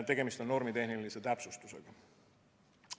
Tegemist on normitehnilise täpsustusega.